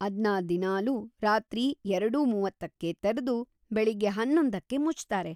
ಅದ್ನ ದಿನಾಲೂ ರಾತ್ರಿ ಎರಡು:ಮೂವತ್ತಕ್ಕೇ ತೆರ್ದು ಬೆಳಿಗ್ಗೆ ಹನ್ನೊಂದಕ್ಕೆ ಮುಚ್ತಾರೆ.